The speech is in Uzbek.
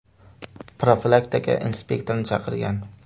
profilaktika inspektorini chaqirgan.